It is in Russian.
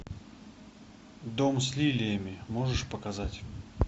дом с лилиями можешь показать